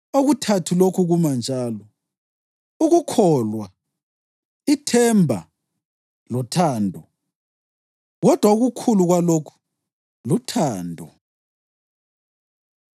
Okuthathu lokhu kuma kunjalo: ukukholwa, ithemba lothando. Kodwa okukhulu kwalokhu luthando.